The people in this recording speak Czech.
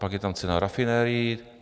Pak je tam cena rafinerií.